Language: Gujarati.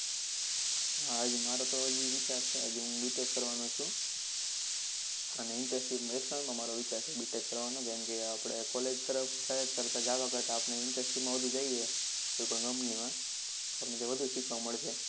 હા હજી માંરોતો હજુ વિચાર છે હજી હું BTECH કરવાનો છું અને internship માં વિચાર છે મારો BTECH કરવાનો કેમ કે આપડે college તરફ જવા કરતા internship માં વધુ જઈએ કોઈ પણ company માં તો આપણને વધુ સીખવા મળશે